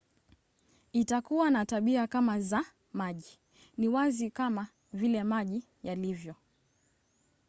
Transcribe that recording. "itakuwa na tabia kama za maji. ni wazi kama vile maji yalivyo